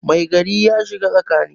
Mai gari ya shiga tsakani